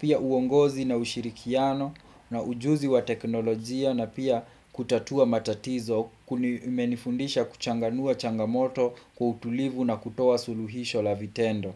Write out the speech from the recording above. pia uongozi na ushirikiano, na ujuzi wa teknolojia, na pia kutatua matatizo kumenifundisha kuchanganua changamoto kwa kutulivu na kutoa suluhisho la vitendo.